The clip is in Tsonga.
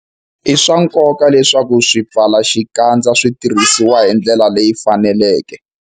I swa nkoka leswaku swipfalaxikandza swi tirhisiwa hi ndlela leyi faneleke.